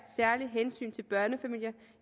særlige hensyn til børnefamilier